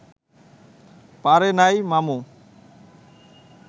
পারে নাই মামু